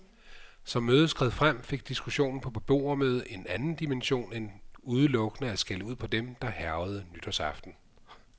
Som mødet skred frem, fik diskussionen på beboermødet en anden dimension end udelukkende at skælde ud på dem, der hærgede nytårsaften.